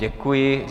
Děkuji.